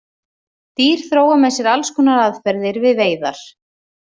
Dýr þróa með sér alls konar aðferðir við veiðar.